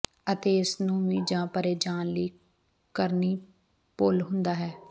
ਅਤੇ ਇਸ ਨੂੰ ਵੀ ਜ ਭਰੇ ਜਾਣ ਲਈ ਕਰਨੀ ਭੁੱਲ ਹੁੰਦਾ ਹੈ